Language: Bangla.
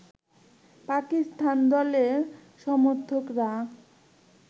পাকিস্তান দলের সমর্থকরা